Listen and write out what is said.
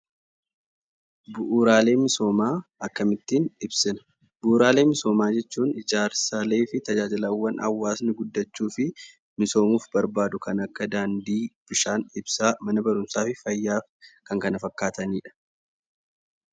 Bu'uuraalee misoomaa akkamittiin ibsina? Bu'uuraalee misoomaa jechuun ijaarsaalee fi tajaajilawwan hawaasni guddachuu fi misoomuuf barbaadu kan akka daandii, bishaan, ibsaa, mana barumsaa fi fayyaa kan kana fakkaataniidha.